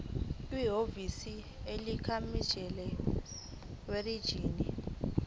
kwihhovisi likamininjela werijini